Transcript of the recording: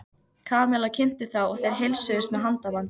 Kamilla kynnti þá og þeir heilsuðust með handabandi.